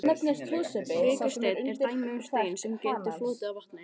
Vikursteinn er dæmi um stein sem getur flotið á vatni.